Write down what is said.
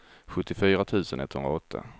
sjuttiofyra tusen etthundraåtta